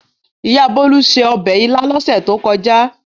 Ìyá Bólú se ọbẹ̀ ilá lọ́sẹ̀ tó kọjá.